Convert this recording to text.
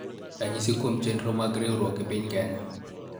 Ranyisi kuom chenro mag riwruok e piny Kenya